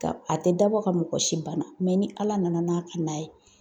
Ka a tɛ dabɔ ka mɔgɔ si banna, mɛ ni ala nana n'a ka na ye.